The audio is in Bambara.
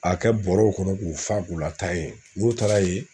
A kɛ bɔrɛw kɔnɔ k'u fa k'u lataa yen n'u taara yen